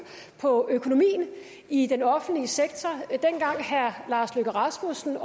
på økonomien i den offentlige sektor dengang herre lars løkke rasmussen